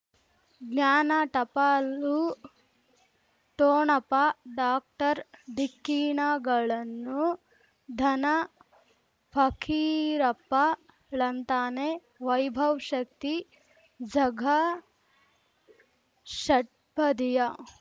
ಜ್ಞಾನ ಟಪಾಲು ಠೊಣಪ ಡಾಕ್ಟರ್ ಢಿಕ್ಕಿ ಣಗಳನು ಧನ ಫಕೀರಪ್ಪ ಳಂತಾನೆ ವೈಭವ್ ಶಕ್ತಿ ಝಗಾ ಷಟ್ಪದಿಯ